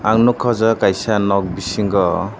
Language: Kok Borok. ang nugkha aw jaaga kaisa nok bisingo.